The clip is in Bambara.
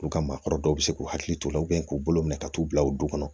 U ka maakɔrɔ dɔw bɛ se k'u hakili to u la k'u bolo minɛ ka t'u bila u du kɔnɔ